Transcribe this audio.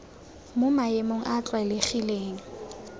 mo maemong a a tlwaelegileng